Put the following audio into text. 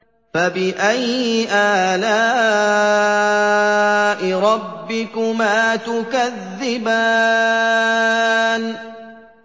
فَبِأَيِّ آلَاءِ رَبِّكُمَا تُكَذِّبَانِ